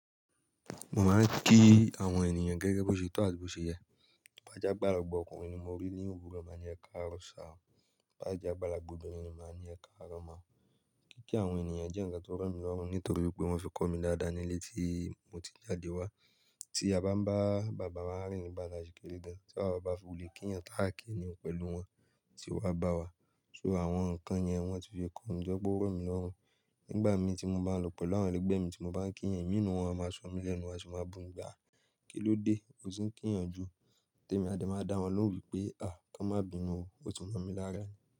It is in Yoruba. Mo máa ń kí àwọn ènìyàn gẹ́gẹ́ bí ó ṣe tó àbí bó ṣe yẹ. Tó bá jẹ́ àgbàlagbà ọkùnrin ni mi rí òwúrọ̀ màá sọ pé ẹkaro sir. Ìbá jẹ àgbàlagbà obìnrin ni màá ní ẹ̀kaárọ̀ mà. Kíkí àwọn ènìyàn jẹ́ ǹkan tó rọ̀ mí lọ́hùn nítorí wípé wọ́n fi kọ́ mi dáadáa nílé tí mo ti jáde wá. Tí a ń bá bàbá wa rìn nígbà tí a ṣì kéré gan, tí bàbá bá fi lè kí èèyàn káàkiri pẹ̀lú wọn tí wá bá wa so àwọn ǹkan yẹn wọ́n ti fi kọ́ mi tó jẹ́ pé rọ̀ mí lọ́rùn. Nígbà mí tí mo bá lọ pẹ̀lú àwọn ẹlẹgbẹ́ mi tí mo bá ń kí èèyàn, ìmí inú wọn a máa ṣomi lẹ́nu, wọn a sì máa bumi. Kí ló dé, o ti kí èèyàn jù. Tẹ́ èmi a dẹ̀ máa dá wọn lóòwù pé ká wọn má bi ìnu o, o ti mọ̀ mí lára.